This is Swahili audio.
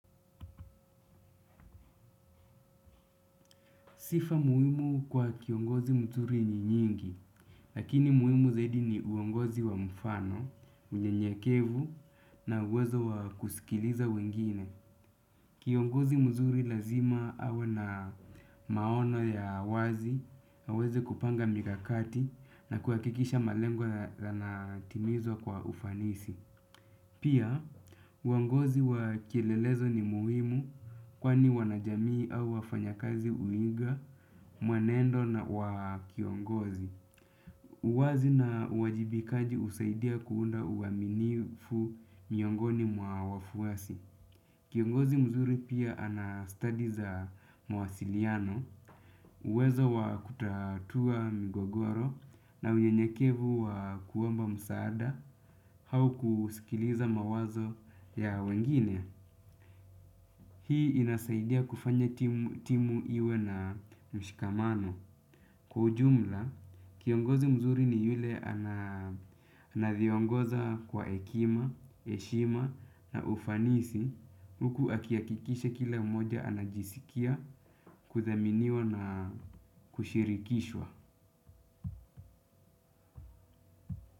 Sifa muhimu kwa kiongozi mzuri ni nyingi, lakini muhimu zaidi ni uongozi wa mfano, mnye nyekevu na uwezo wa kusikiliza wengine. Kiongozi mzuri lazima hawe na maono ya wazi na aweze kupanga mikakati na kuhakikisha malengo yanatimizwa kwa ufanisi. Pia, uongozi wa kielelezo ni muhimu kwa ni wanajamii au wafanya kazi uinga, mwenendo wakiongozi. Uwazi na uajibikaji usaidia kuunda uaminifu miongoni mwa wafuasi. Kiongozi mzuri pia anastadi za mawasiliano, uwezo wa kutatua migogoro na uyenyekevu wa kuomba msaada au kusikiliza mawazo ya wengine. Hii inasaidia kufanya timu iwe na mshikamano. Kwa ujumla, kiongozi mzuri ni yule anavyongoza kwa hekima, heshima na ufanisi huku akiakikisha kila mmoja anajisikia, kuthaminiwa na kushirikishwa.